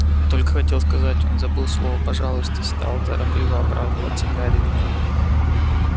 я только хотел сказать он забыл слово пожалуйста стал торопливо оправдываться гарри